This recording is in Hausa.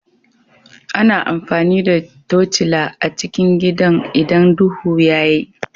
Ana amfani da tocila a cikin gidan idan duhu ya yi